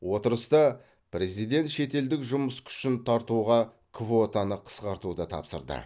отырыста президент шетелдік жұмыс күшін тартуға квотаны қысқартуды тапсырды